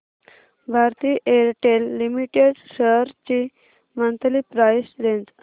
Bharti Airtel limited shares ची monthly price range